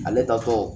Ale tatɔ